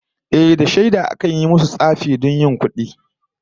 Ehh, da shaida akan masu yin tsafi don yin kudi